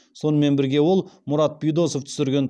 сонымен бірге ол мұрат бидосов түсірген